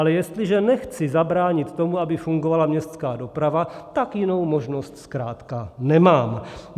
Ale jestliže nechci zabránit tomu, aby fungovala městská doprava, tak jinou možnost zkrátka nemám.